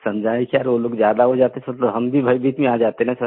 समझाएं क्या वो लोग ज्यादा हो जाते तो सर हम भी भयभीत में आ जाते न सर